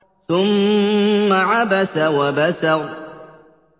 ثُمَّ عَبَسَ وَبَسَرَ